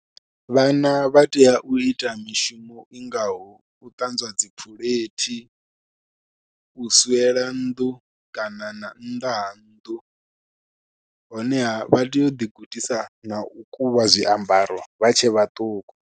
Vhana vha tea u ita mishumo i ngaho u ṱanzwa dzi phuleithi, u swiela nnḓu kana na nnḓa ha nnḓu honeha vha tea uḓi gudisa na u kuvha zwiambaro vha tshe vhaṱuku.